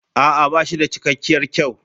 A'a ba shi da cikakkiyar kyau.